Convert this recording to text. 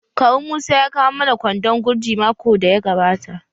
Kawu musa ya kawo mana kwandon gurji makon daya gabata.